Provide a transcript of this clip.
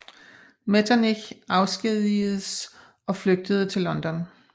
Metternich afskedigedes og flygtede til London